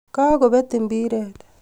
Kagobet mbiret